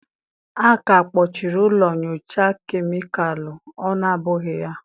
A ka akpọchiri ụlọ nyocha kemịkalụ, ọ na ọ bụghị ya?